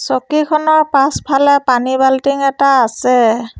চকীখনৰ পাছফালে পানীৰ বাল্টিং এটা আছে।